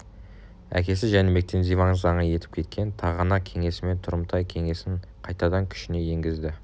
әкесі жәнібектің диван заңы етіп кеткен тағанақ кеңесімен тұрымтай кеңесінқайтадан күшіне енгізді